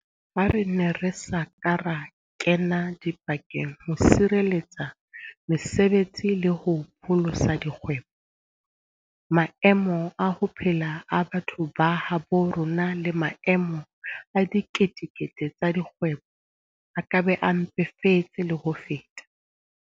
Ha re ne re sa ka ra kena dipakeng ho sireletsa mese betsi le ho pholosa dikgwebo, maemo a ho phela a batho ba habo rona le maemo a dikete kete tsa dikgwebo a ka be a mpefetse le ho feta.